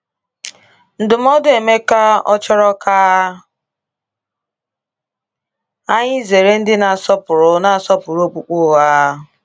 Ndụmọdụ Emeka ọ chọrọ ka anyị zere ndị na-asọpụrụ na-asọpụrụ okpukpe ụgha?